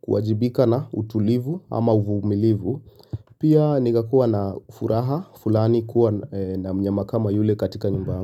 kuwajibika na utulivu ama uvumilivu pia nikakuwa na furaha fulani kuwa na mnyama kama yule katika nyumba yangu.